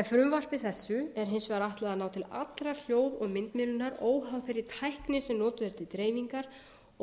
en frumvarpi þessu er hins vegar ætlað að ná til allra hljóð og myndmiðlunar óháð þeirri tækni sem notuð er til dreifingar